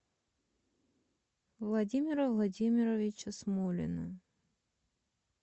владимира владимировича смолина